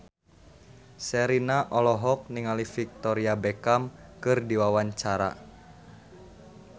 Sherina olohok ningali Victoria Beckham keur diwawancara